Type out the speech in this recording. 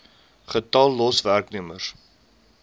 getal los werknemers